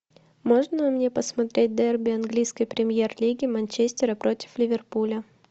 можно мне посмотреть дерби английской премьер лиги манчестера против ливерпуля